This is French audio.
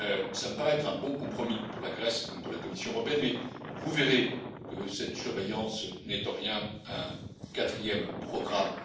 Cela me paraît être un bon compromis pour la Grèce comme pour la Commission européenne, mais vous verrez que cette surveillance n'est en rien un quatrième programme.